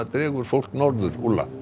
dregur fólk norður